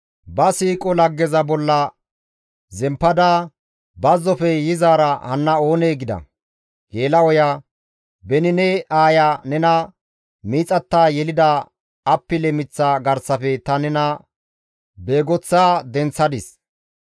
«Ba siiqo laggeza bolla zemppada, bazzofe yizaara hanna oonee?» gida. Geela7oya «Beni ne aaya nena miixatta yelida appile miththa garsafe ta nena beegoththa denththadis.